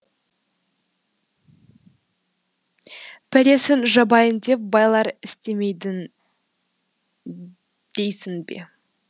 пәлесін жабайын деп байлар істемейді дейсің бе